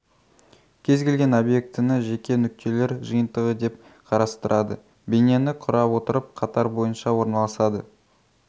кез-келген объектіні жеке нүктелер жиынтығы деп қарастырады бейнені құра отырып қатар бойынша орналасады